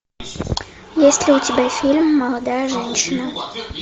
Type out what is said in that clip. есть ли у тебя фильм молодая женщина